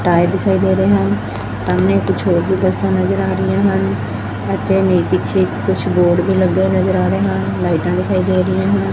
Tyre ਦਿਖਾਈ ਦੇ ਰਹੇ ਹਨ ਸਾਹਮਣੇ ਕੁੱਛ ਹੋਰ ਵੀ ਬੱਸਾਂ ਨਜ਼ਰ ਆ ਰਹੀਆਂ ਹਨ ਅਤੇ ਇਹਨਾਂ ਦੇ ਪਿੱਛੇ ਕੁਛ ਬੋਰਡ ਵੀ ਲੱਗੇ ਹੋਏ ਨਜ਼ਰ ਆ ਰਹੇ ਹਨ ਲਾਈਟਾਂ ਵੀ ਦਿਖਾਈ ਦੇ ਰਹੀਆਂ ਹਨ।